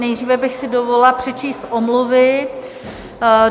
Nejdříve bych si dovolila přečíst omluvy.